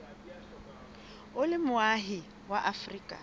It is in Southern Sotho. o le moahi wa afrika